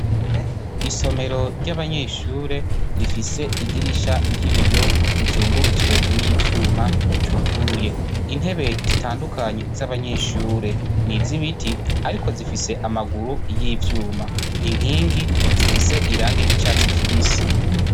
Isomero ry'abanyeshure rifise idirisha ry'ibiyo rizungurutswe n'ivyuma, ryuguruye. Intebe zitandukanye z'abanyeshure, ni iz'ibiti ariko zifise amaguru y'ivyuma, inkingi zifise irangi ry'icatsi kibisi.